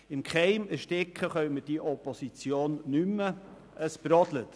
Im Keim ersticken können wir diese Opposition nicht mehr, es brodelt.